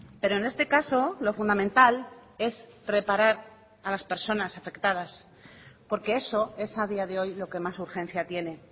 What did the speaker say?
pero en este caso lo fundamental es reparar a las personas afectadas porque eso es a día de hoy lo que más urgencia tiene